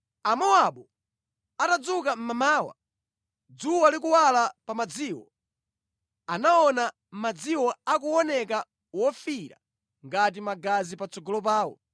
Amowabu atadzuka mmamawa, dzuwa likuwala pa madziwo, anaona madziwo akuoneka wofiira ngati magazi patsogolo pawo.